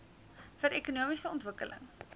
vir ekonomiese ontwikkeling